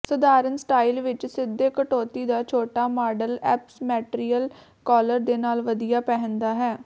ਸਧਾਰਣ ਸਟਾਈਲ ਵਿਚ ਸਿੱਧੇ ਕਟੌਤੀ ਦਾ ਛੋਟਾ ਮਾਡਲ ਔਪਸਮੈਟਰੀਅਲ ਕਾਲਰ ਦੇ ਨਾਲ ਵਧੀਆ ਪਹਿਨਦਾ ਹੈ